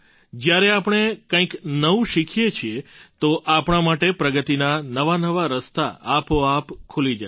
જ્યારે આપણે કંઈક નવું શીખીએ છીએ તો આપણા માટે પ્રગતિના નવાનવા રસ્તા આપોઆપ ખુલી જાય છે